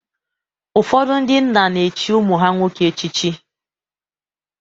Ụfọdụ ndị nna na-echi ụmụ ha nwoke echichi.